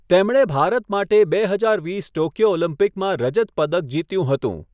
તેમણે ભારત માટે બે હજાર વીસ ટોક્યો ઓલિમ્પિકમાં રજત પદક જીત્યું હતું.